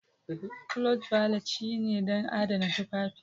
Cloth Valet shine don adana tufafi.